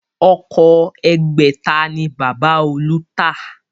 Ọkọ̀ ẹgbẹ̀ta ni Bàbá olú ta